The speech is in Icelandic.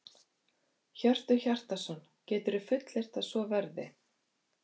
Hjörtur Hjartarson: Geturðu fullyrt að svo verði?